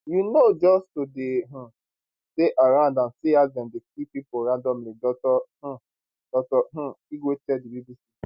you know just to dey um stay around and see as dem dey kill pipo randomly dr um dr um igwe tell di bbc